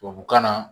Tubabukan na